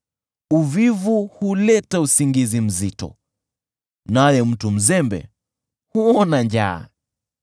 Uvivu huleta usingizi mzito, naye mtu mzembe huona njaa.